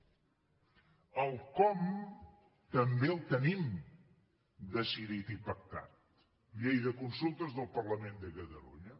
el com també el tenim decidit i pactat llei de consultes del parlament de catalunya